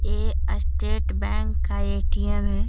ए State Bank का ATM. है।